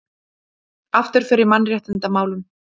Afturför í mannréttindamálum